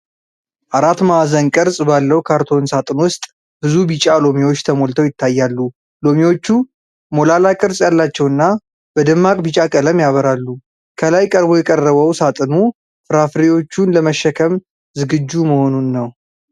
አራት ማዕዘን ቅርጽ ባለው ካርቶን ሳጥን ውስጥ ብዙ ቢጫ ሎሚዎች ተሞልተው ይታያሉ። ሎሚዎቹ ሞላላ ቅርጽ ያላቸውና በደማቅ ቢጫ ቀለም ያበራሉ። ከላይ ቀርቦ የቀረበው ሳጥኑ ፍራፍሬዎቹን ለመሸከም ዝግጁ መሆኑን ነው።